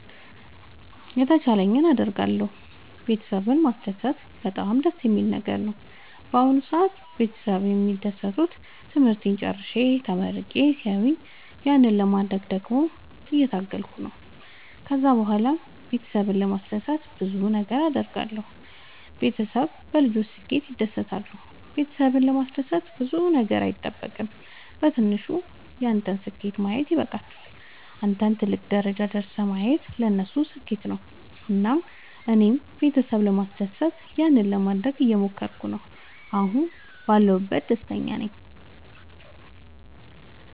የተቻለኝን አደርጋለሁ ቤተሰብን ማስደሰት በጣም ደስ የሚል ነገር ነው። በአሁን ሰአት ቤተሰብ የሚደሰቱት ትምህርቴን ጨርሼ ተመርቄ ሲያዩኝ ያንን ለማድረግ ደግሞ እየታገልኩ ነው። ከዛ ብኋላም ቤተሰብን ለማስደሰት ብዙ ነገር አድርጋለሁ። ቤተሰብ በልጆች ስኬት ይደሰታሉ ቤተሰብን ለማስደሰት ብዙ ነገር አይጠበቅም በትንሹ ያንተን ስኬት ማየት ይበቃቸዋል። አንተን ትልቅ ደረጃ ደርሰህ ማየታቸው ለነሱ ስኬት ነው። እና እኔም ቤተሰብ ለማስደሰት ያንን ለማደረግ እየሞከርኩ ነው አሁን ባለሁበት ደስተኛ ናቸው።